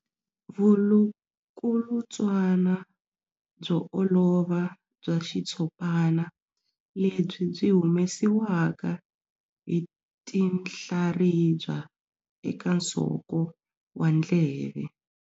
Vulukulutswana byo olova bya xitshopana lebyi byi humesiwaka hi tinhlaribya eka nsoko wa ndleve.